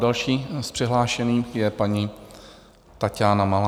Další z přihlášených je paní Taťána Malá.